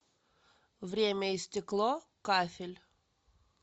время и стекло кафель